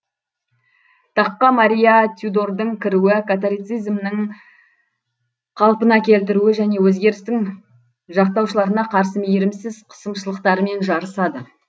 таққа мария тюдордың кіруі католицизмның қалпына келтіруі және өзгерістің жақтаушыларына қарсы мейірімсіз қысымшылықтарымен жарысады